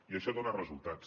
i això dona resultats